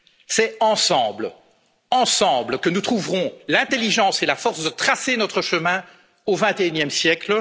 C'est ensemble que nous trouverons l'intelligence et la force de tracer notre chemin au vingt et unième siècle.